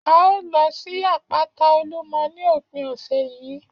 A ó lọ sí àpáta Olúmọ ní òpin ọ̀sẹ̀ yìí